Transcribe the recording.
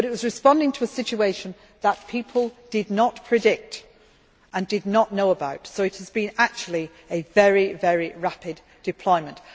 It was responding to a situation that people did not predict, and did not know about, so it has actually been a very, very rapid deployment.